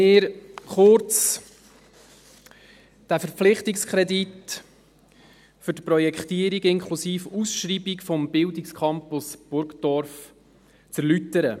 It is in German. der BaK. Ich erlaube mir, kurz diesen Verpflichtungskredit für die Projektierung inklusive Ausschreibung des Bildungscampus Burgdorf zu erläutern.